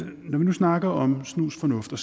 snakker om snusfornuft og